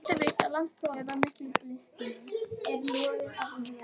Hitt er víst að landsprófið var mikil bylting.